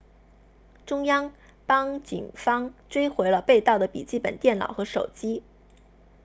中央邦警方追回了被盗的笔记本电脑和手机